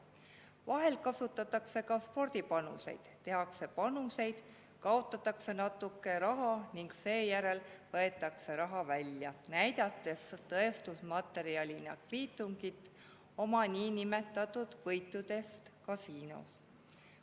Vahel kasutatakse ka spordipanuseid: tehakse panuseid, kaotatakse natuke raha ning seejärel võetakse raha välja, näidates tõestusmaterjalina kviitungit oma niinimetatud võitudest kasiinos.